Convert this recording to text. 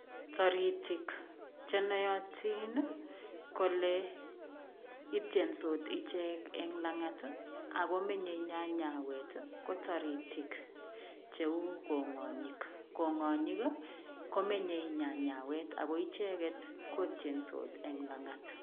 Toritik che noyotin kole itiensot ichek eng langat ago menye nyanyawet ko taritik cheu kongonyik, kongonyik komenyei nyanyawet ago icheget kotiensot eng langat.